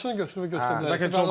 Qardaşını götürüb götürə bilər.